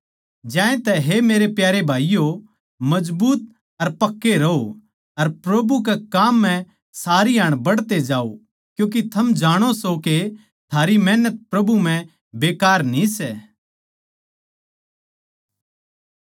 ज्यांतै हे मेरे प्यारे भाईयो मजबूत अर पक्के रहो अर प्रभु कै काम म्ह सारी हाण बढ़ते जाओ क्यूँके थम जाणो सो के थारी मेहनत प्रभु म्ह बेकार न्ही सै